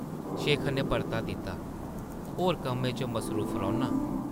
शेखर नै परता दित्ता, ‘‘होर कम्में च मसरूफ रौह्न्नां ।’’